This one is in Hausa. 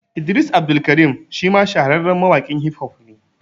Idris Abdulkarim shi ma shahararren mawaƙin Hif hof ne